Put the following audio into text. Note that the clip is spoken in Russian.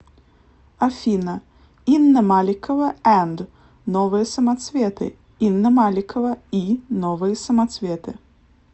афина инна маликова энд новые самоцветы инна маликова и новые самоцветы